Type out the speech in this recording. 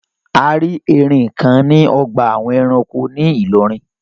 A rí erin kan ní ọgbà àwọn ẹranko ní Ìlọrin.